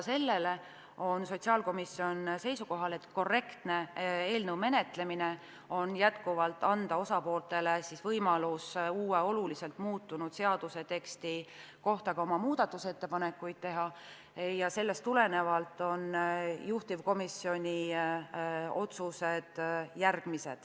Siiski on sotsiaalkomisjon seisukohal, et eelnõu menetlemine on korrektne, kui anda osapooltele võimalus ka uue, oluliselt muutunud seaduseteksti kohta oma muudatusettepanekuid teha, ja sellest tulenevalt on juhtivkomisjoni otsused järgmised.